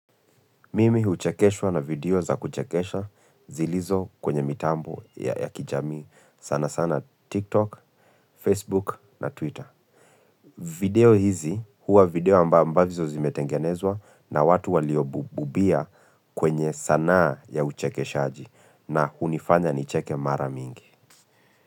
Mimi huchekeswa na video za kuchekesha zilizo kwenye mitambo ya ya kijamii sana sana TikTok, Facebook na Twitter. Video hizi huwa video amba ambazo zimetengenezwa na watu waliobububia kwenye sanaa ya uchekeshaaji na hunifanya nicheke mara mingi.